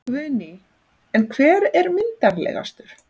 Guðný: En hver er myndarlegastur?